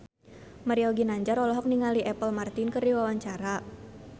Mario Ginanjar olohok ningali Apple Martin keur diwawancara